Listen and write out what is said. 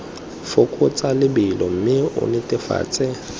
fokotsa lebelo mme o netefatse